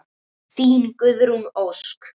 Þín, Guðrún Ósk.